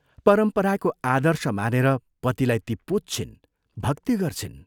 परम्पराको आदर्श मानेर पतिलाई ती पुज्छिन्, भक्ति गर्छिन्।